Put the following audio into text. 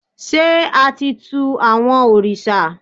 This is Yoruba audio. ṣe a ti tù awọn oriṣa?